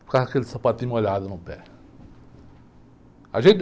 Ficava aquele sapatinho molhado no pé. A gente...